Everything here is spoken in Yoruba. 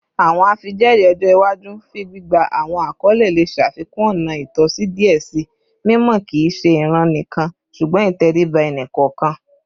Awọn afijẹẹri ọjọ iwaju fun gbigba awọn akọle le ṣafikun ọna itọsi diẹ sii, mimọ kii ṣe iran nikan ṣugbọn iteriba ẹni kọọkan